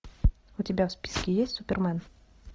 у тебя в списке есть супермен